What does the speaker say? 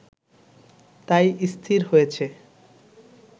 তাই স্থির হয়েছে